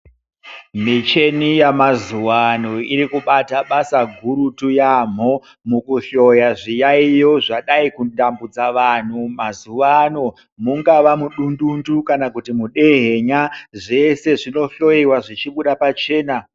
Michini yamazuva ano iri kubata basa gurutu yambo mukuhloya zviyayiyo zvadai kutambudza vantu mazuva ano mungava mudundundu kana kuti mudehenya zvese zvinohloiwa zvichibuda pachena.